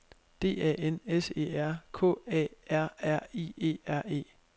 D A N S E R K A R R I E R E